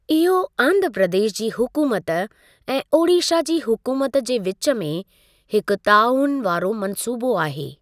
इहो आंध्रा प्रदेश जी हुकूमत ऐं ओडीशा जी हुकूमत जे विच में हिकु तआवुन वारो मन्सूबो आहे।